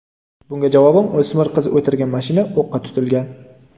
Bunga javoban, o‘smir qiz o‘tirgan mashina o‘qqa tutilgan.